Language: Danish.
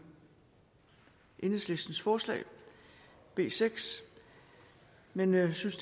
i enhedslistens forslag b seks men jeg synes